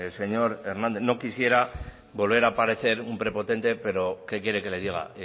señor hernández no quisiera volver a parecer un prepotente pero qué quiere que le diga